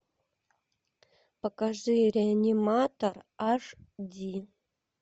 покажи реаниматор аш ди